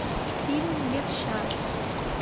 фильм левша